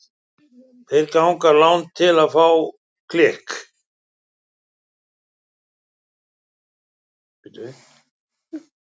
Þeir ganga langt til að fá klikk.